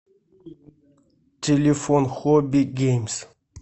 телефон хобби геймс